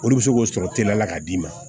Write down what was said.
Olu bɛ se k'o sɔrɔ teliya la k'a d'i ma